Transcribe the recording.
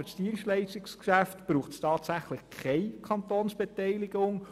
Für das Dienstleistungsgeschäft braucht es tatsächlich keine Kantonsbeteiligung.